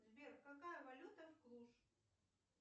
сбер какая валюта в клуш